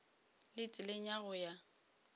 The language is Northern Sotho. le tseleng ya go ya